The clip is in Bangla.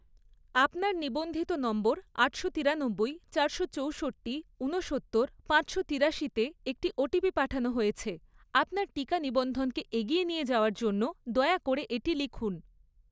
আপনার নিবন্ধিত নম্বর আটশো তিরানব্বই, চারশো চৌষট্টি, উনসত্তর, পাঁচশো তিরাশিতে একটি ওটিপি পাঠানো হয়েছে, আপনার টিকা নিবন্ধনকে এগিয়ে নিয়ে যাওয়ার জন্য দয়া করে এটি লিখুন।